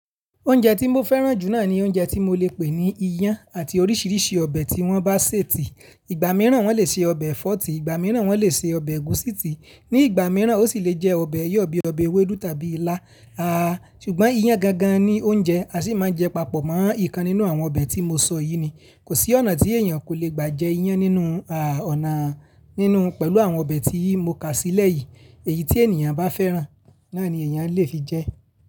Oúnjẹ tí mo fẹ́ràn jù náà ni oúnjẹ tí mo le pè ní iyán àti oríṣiríṣi ọbẹ̀ tí wọ́n bá sè tì. Ìgbà mìíràn wọ́n lè se ọbẹ̀ ẹ̀fọ́ tì, ìgbà mìíràn wọ́n lè se ọbẹ̀ ẹ̀gúsí tì, ní ìgbà mìíràn ó sì lè jẹ́ ọbẹ̀ iyọ̀ bí i ọbẹ̀ ewédú tàbí ilá. Ṣùgbọ́n iyán gan gan ni oúnjẹ, a sì máa ń jẹ papọ̀ mọ́ ìkan nínú àwọn ọbẹ̀ tí mo sọ yìí ni. Kò sí ọ̀nà tí èèyàn kò le gbà jẹ iyán nínú, aà, ọ̀nà nínú pẹ̀lú àwọn ọbẹ̀ tí mo kà sílẹ̀ yìí. Èyí tí ènìyàn bá fẹ́ràn, náà ni èèyàn lè fi jẹ.